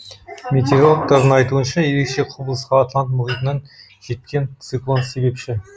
метеорологтардың айтуынша ерекше құбылысқа атлант мұхитынан жеткен циклон себепші